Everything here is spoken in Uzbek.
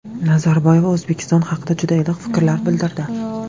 Nazarboyeva O‘zbekiston haqida juda iliq fikrlar bildirdi.